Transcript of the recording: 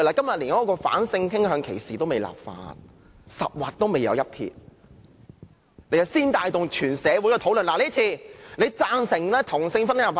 我們連反性傾向歧視立法也未開始，十畫還未有一撇，他們即帶動全社會討論，指做法有如贊成同性婚姻合法化。